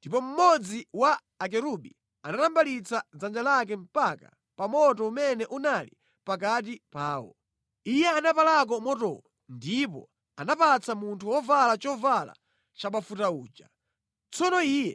Ndipo mmodzi wa akerubi anatambalitsa dzanja lake mpaka pa moto umene unali pakati pawo. Iye anapalako motowo ndipo anapatsa munthu wovala chovala chabafuta uja. Tsono iye